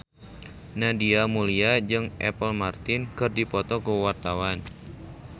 Nadia Mulya jeung Apple Martin keur dipoto ku wartawan